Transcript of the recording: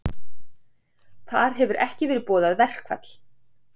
Þar hefur ekki verið boðað verkfall